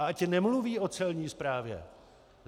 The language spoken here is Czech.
A ať nemluví o Celní správě!